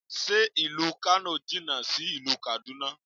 Ṣé ìlú Kano jìnà sí ìlú Kaduna?